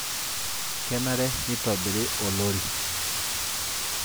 Kenare nitobiri olori